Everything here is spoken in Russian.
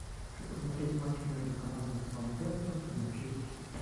хочу посмотреть матч между командами саутгемптон и манчестер сити